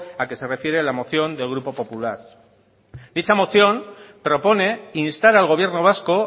al que se refiere la moción del grupo popular dicha moción propone instar al gobierno vasco